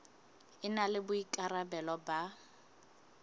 e na le boikarabelo ba